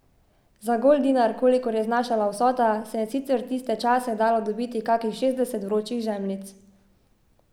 Za goldinar, kolikor je znašala vsota, se je sicer tiste čase dalo dobiti kakih šestdeset vročih žemljic.